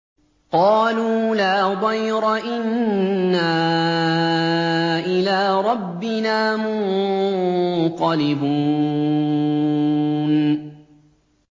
قَالُوا لَا ضَيْرَ ۖ إِنَّا إِلَىٰ رَبِّنَا مُنقَلِبُونَ